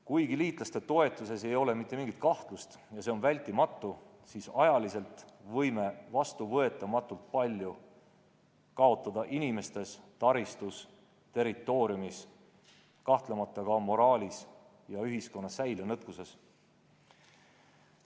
Kuigi liitlaste toetuses ei ole mitte mingit kahtlust ja see on hädavajalik, siis ajaliselt võime vastuvõetamatult palju kaotada inimestes, taristus, territooriumis, kahtlemata ka moraalis ja ühiskonna säilenõtkuses.